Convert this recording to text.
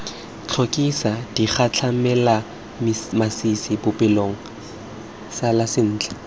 tlhokisa digatlhamelamasisi bopelokgale sala sentle